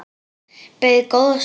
Beið góða stund.